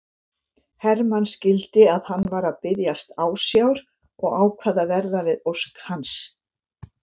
Hermann skildi að hann var að biðjast ásjár og ákvað að verða við ósk hans.